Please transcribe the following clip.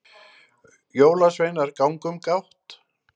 jólasveinar ganga um gátt